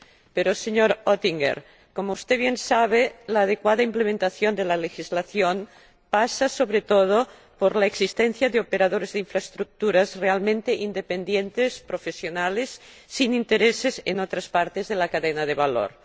Pero, señor Oettinger, como usted bien sabe, la adecuada implementación de la legislación pasa, sobre todo, por la existencia de operadores de infraestructuras realmente independientes, profesionales, sin intereses en otras partes de la cadena de valor.